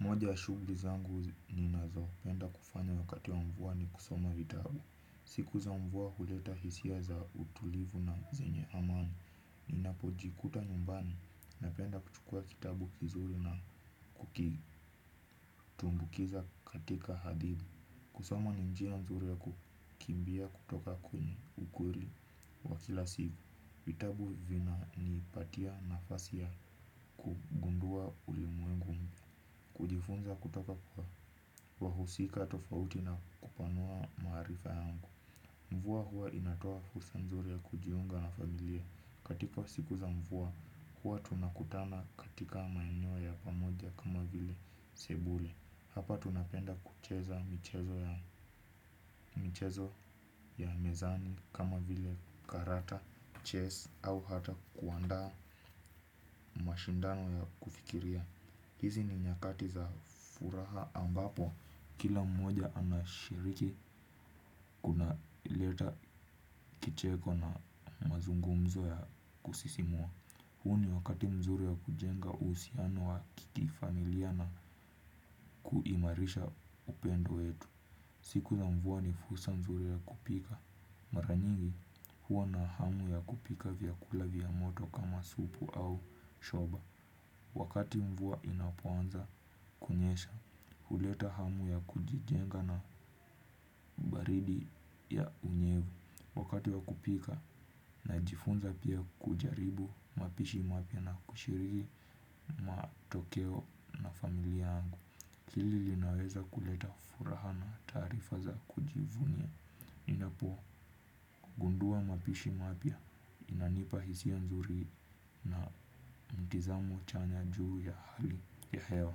Moja wa shughuli zangu ninazopenda kufanya wakati wa mvua ni kusoma vitabu. Siku za mvua huleta hisia za utulivu na zenye amani. Ninapojikuta nyumbani napenda kuchukua kitabu kizuri na kukitumbukiza katika hadithi. Kusoma ni njia nzuri ya kukimbia kutoka kwenye ukweli wa kila siku. Vitabu vina nipatia nafasi ya kugundua ulimwengu. Kujifunza kutoka kwa wahusika tofauti na kupanua maarifa yangu. Mvua huwa linatoa fursa nzuri ya kujiunga na familia katika siku za mvua huwa tunakutana katika maeneo ya pamoja kama vile sebule. Hapa tunapenda kucheza. Michezo ya mezani kama vile karata, chess au ata kuandaa mashindano ya kufikiria. Hizi ni nyakati za furaha ambapo, kila mmoja anashiriki kuna leta kicheko na mazungumzo ya kusisimua. Huu ni wakati mzuri ya kujenga uhusiano wa kifamilia na kuimarisha upendo wetu. Siku za mvua ni fursa nzuri ya kupika. Mara nyingi, hua na hamu ya kupika vyakula vya moto kama supu au shoba. Wakati mvua inapoanza kunyesha. Huleta hamu ya kujijenga na baridi ya unyevu. Wakati wa kupika najifunza pia kujaribu mapishi mapya na kushiriki matokeo na familia yangu hili linaweza kuleta furaha na tarifa za kujivunia. Ninapogundua mapishi mapya inanipa hisia nzuri na mtizamo chanya juu ya hali ya hewa.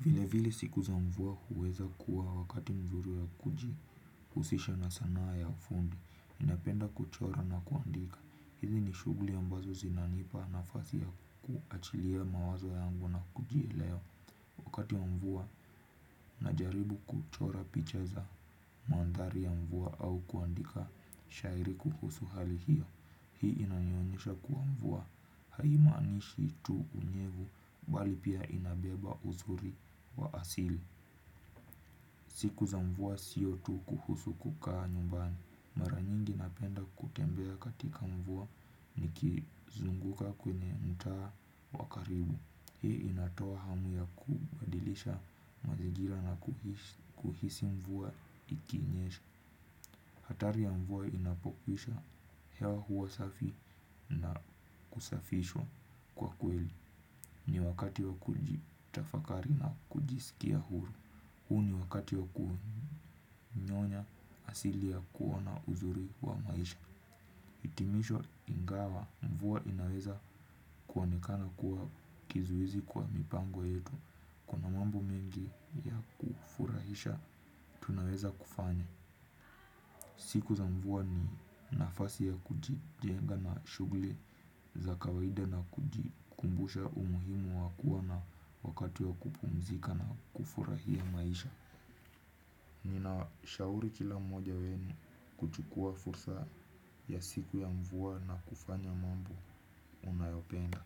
Vile vile siku za mvua huweza kuwa wakati mzuri wa kujihusisha na sanaa ya fundi ninapenda kuchora na kuandika. Hizi ni shuguli ambazo zinanipa nafasi ya kuachilia mawazo yangu na kujielewa. Wakati mvua najaribu kuchora picha za mandhari ya mvua au kuandika shairi kuhusu hali hiyo. Hii inanionyesha kuwa mvua haimaanishi tu unyevu bali pia inabeba uzuri wa asili. Siku za mvua sio tu kuhusu kukaa nyumbani. Mara nyingi napenda kutembea katika mvua nikizunguka kwenye mtaa wa karibu. Hii inatoa hamu ya kubadilisha mazingira na kuhisi mvua ikinyesha. Hatari ya mvua inapokwisha hewa huwa safi na kusafishwa kwa kweli. Ni wakati wa kujitafakari na kujisikia huru. Huu ni wakati wa kunyonya asili ya kuona uzuri wa maisha. Itimisho ingawa mvua inaweza kuonekana kuwa kizuizi kwa mipango yetu kuna mambo mengi ya kufurahisha tunaweza kufanya. Siku za mvua ni nafasi ya kujijenga na shughuli za kawaida na kujikumbusha umuhimu wa kua na wakati wa kupumzika na kufurahia maisha. Ninawashauri kila mmoja wenu kuchukua fursa ya siku ya mvua na kufanya mambo unayopenda.